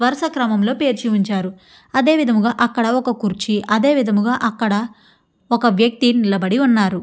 వరుస క్రమంలో పేర్చిఉంచారు అదేవిధంగా అక్కడ ఒక కుర్చీ అదే విధముగా అక్కడ ఒక వ్యక్తి నిలబడి ఉన్నారు.